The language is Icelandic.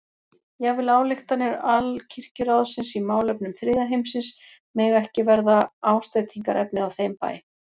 Jafnvel ályktanir Alkirkjuráðsins í málefnum þriðja heimsins mega ekki verða ásteytingarefni á þeim bæ.